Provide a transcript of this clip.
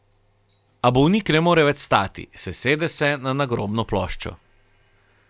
A bolnik ne more več stati, sesede se na nagrobno ploščo.